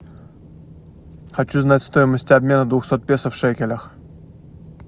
хочу знать стоимость обмена двухсот песо в шекелях